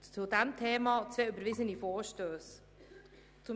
zu diesem Thema zwei überwiesene Vorstösse haben.